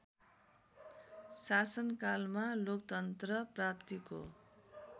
शासनकालमा लोकतन्त्र प्राप्ति‍को